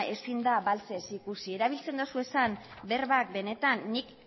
ezin da beltzez ikusi erabiltzen duzu esan berbak benetan nik